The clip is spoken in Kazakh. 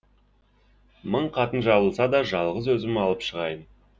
мың қатын жабылса да жалғыз өзім алып шығайын